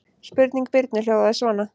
Spurning Birnu hljóðaði svona: